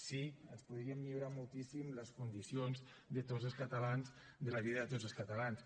sí ens podrien millorar moltíssim les condicions de tots els catalans de la vida de tots els catalans